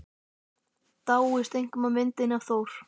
Dáist einkum að myndinni af Thor.